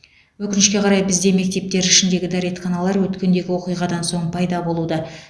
өкінішке қарай бізде мектептер ішіндегі дәретханалар өткендегі оқиғадан соң пайда болуда